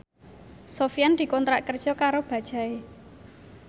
Sofyan dikontrak kerja karo Bajaj